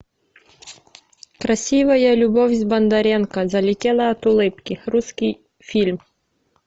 красивая любовь с бондаренко залетела от улыбки русский фильм